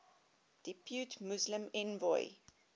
depute muslim envoy